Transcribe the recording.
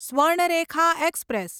Swarnarekha express